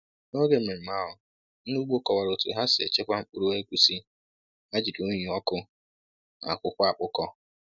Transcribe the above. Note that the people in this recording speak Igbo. N’oge mmemme ahụ, ndị ugbo kọwara otú ha si echekwa mkpụrụ egusi ha jiri unyi ọkụ na akwụkwọ akpụkọ.